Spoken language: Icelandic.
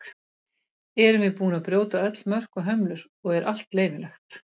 erum við búin að brjóta öll mörk og hömlur og er allt leyfilegt